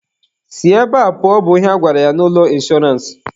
Si ebe a pụọ! bụ ihe a gwara ya n'ụlọ inshọrance.